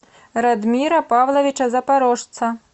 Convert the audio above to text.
радмира павловича запорожца